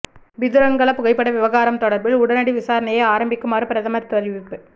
பிதுரங்கல புகைப்பட விவகாரம் தொடர்பில் உடனடி விசாரணையை ஆரம்பிக்குமாறு பிரதமர் தெரிவிப்பு